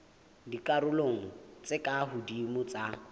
dikarolong tse ka hodimo tsa